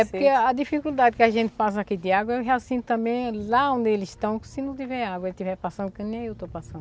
É porque a dificuldade que a gente passa aqui de água, eu já sinto também lá onde eles estão, que se não tiver água, eles estiverem passando, que nem eu estou passando.